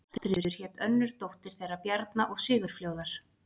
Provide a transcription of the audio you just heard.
Ástríður hét önnur dóttir þeirra Bjarna og Sigurfljóðar.